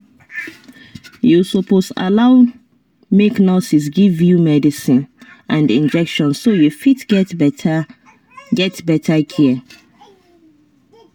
you suppose allow make nurses give you medicine and injection so you fit get better get better care